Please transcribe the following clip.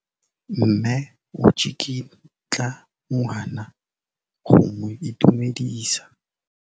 Mme o tsikitla ngwana go mo itumedisa.